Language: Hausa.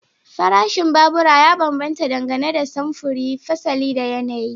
Farashin babura ya bambanta dangane da samfuri, fasali da yanayi.